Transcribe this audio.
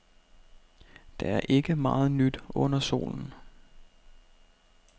Der er ikke meget nyt under solen.